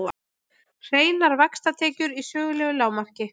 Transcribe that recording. Hreinar vaxtatekjur í sögulegu lágmarki